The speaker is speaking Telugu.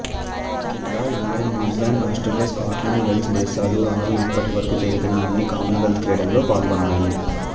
Canada England New Zealand Australia Scotland Wales దేశాలు ఆరు ఇప్పటి వరకు జరిగిన అన్ని కామన్వెల్త్ క్రీడల్లో పాల్గొన్నాయి